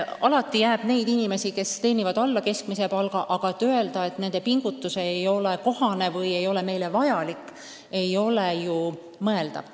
Alati jääb neid inimesi, kes teenivad alla keskmise palga, aga öelda, et nende pingutus ei ole kohane või ei ole meile vajalik, ei ole mõeldav.